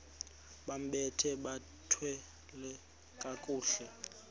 bambathe bathwale kakuhle